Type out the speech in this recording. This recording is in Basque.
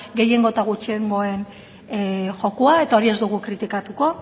gehiengo eta gutxiengoen jokoa eta hori ez dugu kritikatuko